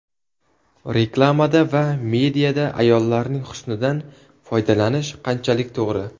Reklamada va mediada ayollarning husnidan foydalanish qanchalik to‘g‘ri?.